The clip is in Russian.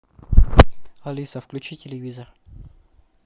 алиса включи телевизор